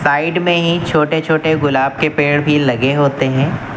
Side में ही छोटे छोटे गुलाब के पेड़ भी लगे होते हैं।